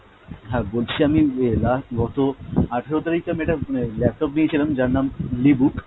হ্যাঁ বলছি আমি যে last গত আঠেরো তারিখে আমি একটা আহ laptop নিয়েছিলাম যার নাম le book,